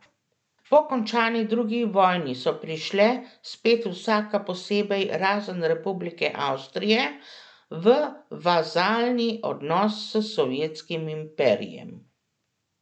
Po končani drugi vojni so prišle, spet vsaka posebej razen Republike Avstrije, v vazalni odnos s Sovjetskim imperijem.